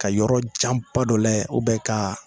Ka yɔrɔjanba dɔ layɛ u bɛ kaa